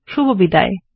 শুভবিদায়